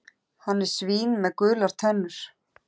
Hann er svín með gular tennur.